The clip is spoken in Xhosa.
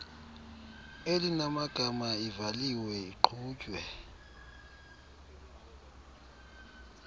elinamagama ivaliwe iqhutywe